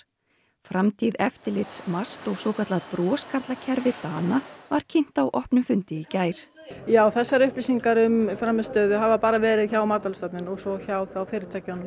framtíð eftirlits MAST og svokallað broskarla kerfi Dana var kynnt á opnum fundi í gær já þessar upplýsingar um frammistöðu hafa bara verið hjá Matvælastofnun og svo hjá fyrirtækjunum